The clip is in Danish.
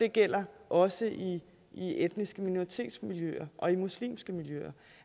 det gælder også etniske minoritetsmiljøer og muslimske miljøer